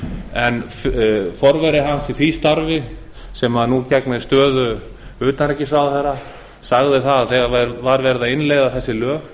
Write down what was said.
en forveri hans í því starfi sem nú gegnir stöðu utanríkisráðherra sagði að þegar væri verið að innleiða þessi lög